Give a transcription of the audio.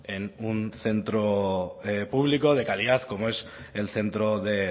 en un centro público de calidad como es el centro de